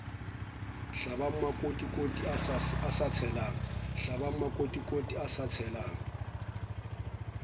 hlabang makotikoti a sa tshelang